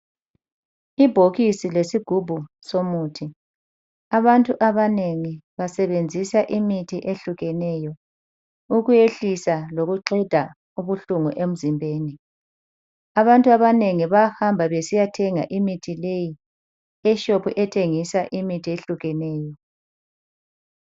Ibhokisi lesigubhu somuthi ,abantu abanengi basebenzisa imithi eyehlukeneyo. Ukwehlisa lokuqeda ubuhlungu emzimbeni. Abantu abanengi bahamba besiyathenga imithi leyi eshop ethengisa imithi eyehlukeneyo.